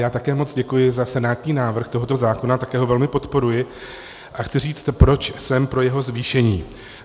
Já také moc děkuji za senátní návrh tohoto zákona, také ho velmi podporuji a chci říct, proč jsem pro jeho zvýšení.